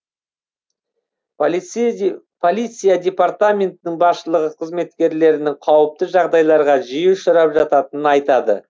полиция департаментінің басшылығы қызметкерлерінің қауіпті жағдайларға жиі ұшырап жататынын айтады